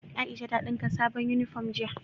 Aisha ta dinka sabon uniform jiya